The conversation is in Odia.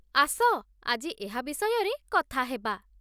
ଆସ, ଆଜି ଏହା ବିଷୟରେ କଥା ହେବା